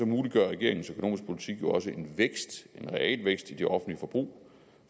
muliggør regeringens økonomiske politik jo også en vækst en realvækst i det offentlige forbrug